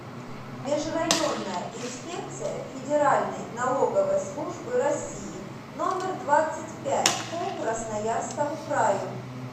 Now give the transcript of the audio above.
межрайонная инспекция федеральной налоговой службы россии номер двадцать пять по красноярскому краю